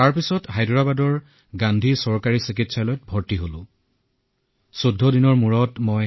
তেতিয়া মোৰ হায়দৰাবাদৰ চৰকাৰী চিকিৎসালয় গান্ধী হাস্পতালত ভৰ্তি কৰোৱা হল